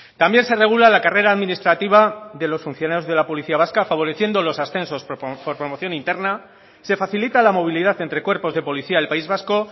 también se regula la carrera administrativa de los funcionarios de la policía vasca favoreciendo los ascensos por promoción interna se facilita la movilidad entre cuerpos de policía del país vasco